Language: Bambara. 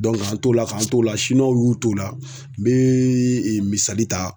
k'an t'o la k'an t'o la w y'u t'o la n bee misali ta